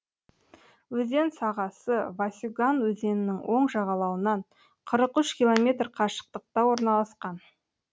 өзен сағасы васюган өзенінің оң жағалауынан қырық үш километр қашықтықта орналасқан